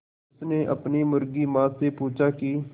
उसने अपनी मुर्गी माँ से पूछा की